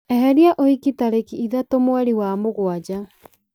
eheria ũhiki tarĩki ithatũ mweri wa mũgwanja